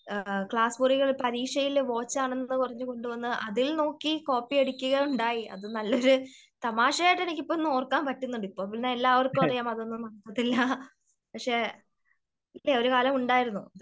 Class മുറിയില് പരീക്ഷയില് watch ആണെന്ന് പറഞ്ഞു കൊണ്ട് വന്നു അതിൽ നോക്കി കോപ്പി അടിക്കുക ഉണ്ടായി. അത് നല്ല തമാശയായിട്ട് എനിക്കിപ്പോ ഓർക്കാൻ പറ്റുന്നുണ്ട്.ഇപ്പോ പിന്നെ എല്ലാവർക്കും അറിയാം അതൊന്നും നടക്കത്തില്ല. അതിൽ പക്ഷേ ഇല്ല ഒരു കാലം ഉണ്ടായിരുന്നു